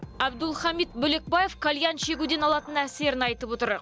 әбдулхамит бөлекбаев кальян шегуден алатын әсерін айтып отыр